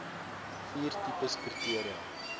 vier tipes kriteria